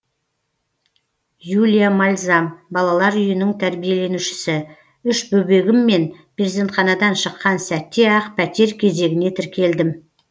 юлия мальзам балалар үйінің тәрбиеленушісі үш бөбегіммен перзентханадан шыққан сәтте ақ пәтер кезегіне тіркелдім